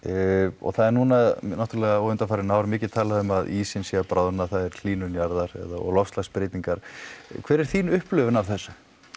og það er núna náttúrulega og undanfarin ár mikið talað um að ísinn sé að bráðna það er hlýnun jarðar og loftslagsbreytingar hver er þín upplifun af þessu